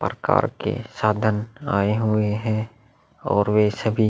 प्रकार के साधन आए हुए है और वे सभी --